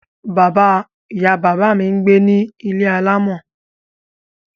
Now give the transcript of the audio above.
Bàbá ìyà bàbá mi gbé ní ilé alámọ̀.